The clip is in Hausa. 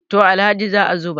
to Alhaji za a zuba